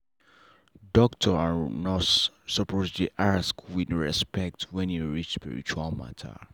doctor and nurse suppose dey ask with respect when e reach spiritual matter.